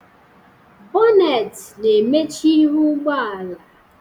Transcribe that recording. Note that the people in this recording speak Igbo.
Bonet na-emechi ihu ụgbọala